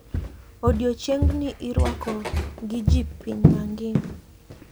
Odiechiengni irwako gi ji piny mangima.